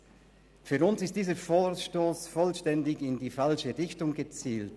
Der Grund ist, dass dieser Vorstoss vollständig in die falsche Richtung zielt.